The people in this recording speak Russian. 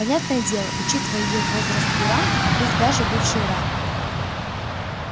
понятное дело учитывая её возраст и ранг пусть даже бывший ранг